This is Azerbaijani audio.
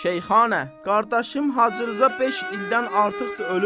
Şeyxana, qardaşım Hacı Rza beş ildən artıqdır ölüb.